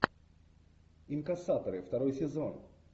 инкассаторы второй сезон